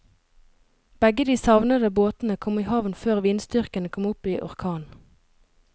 Begge de savnede båtene kom i havn før vindstyrken kom opp i orkan.